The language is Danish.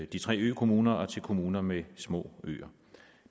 de tre økommuner og til kommuner med små øer